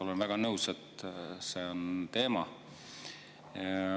Olen väga nõus, et see on teema.